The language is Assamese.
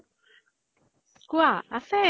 কুৱাঁ আছে ।